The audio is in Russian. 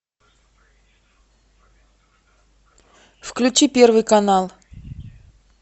включи первый канал